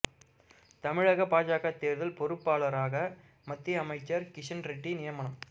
தமிழக பாஜக தேர்தல் பொறுப்பாளராக மத்திய அமைச்சர் கிஷன் ரெட்டி நியமனம்